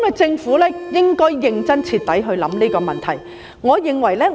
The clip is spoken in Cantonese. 政府應該認真、徹底地考慮這個問題。